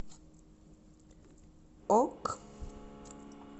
ок